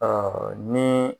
Ɔɔ ni